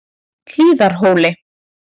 Hlíðarhóli